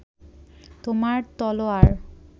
তোমার তলোয়ার